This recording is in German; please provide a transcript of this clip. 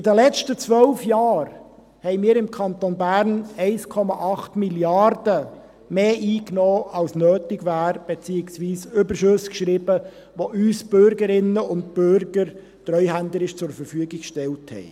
In den letzten 12 Jahren nahmen wir im Kanton Bern 1,8 Mrd. Franken mehr ein, als nötig wäre, beziehungsweise wir schrieben Überschüsse, die uns die Bürgerinnen und Bürger treuhänderisch zur Verfügung gestellt haben.